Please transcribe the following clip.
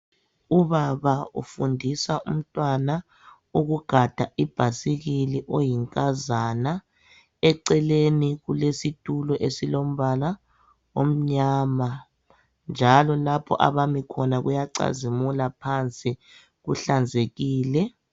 Ubaba ufundisa umntwana ukugada ibhayisikili oyinkazana eceleni kulesitulo esilombala omnyama njalo lapho abami khona kuyacazimula phansi kuhlanzekile.